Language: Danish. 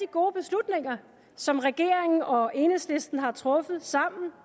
gode beslutninger som regeringen og enhedslisten har truffet sammen